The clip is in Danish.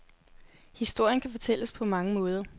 Historien kan fortælles på mange måder.